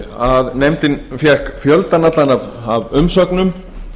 að nefndin fékk fjöldann allan af umsögnum